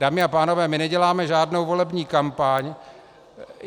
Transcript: Dámy a pánové, my neděláme žádnou volební kampaň.